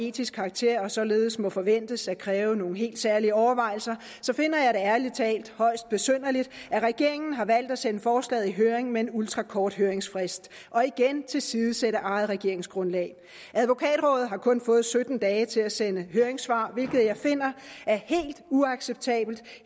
etisk karakter og således må forventes at kræve nogle helt særlige overvejelser finder jeg det ærlig talt højst besynderligt at regeringen har valgt at sende forslaget i høring med en ultrakort høringsfrist og igen tilsidesætter eget regeringsgrundlag advokatrådet har kun fået sytten dage til at sende høringssvar hvilket jeg finder er helt uacceptabelt